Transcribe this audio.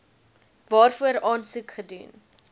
waarvoor aansoek gedoen